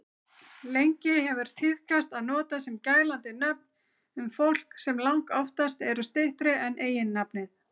Lengi hefur tíðkast að nota gælandi nöfn um fólk sem langoftast eru styttri en eiginnafnið.